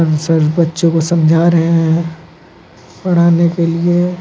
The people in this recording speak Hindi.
सर बच्चो को समझा रहे है पढ़ाने के लिए।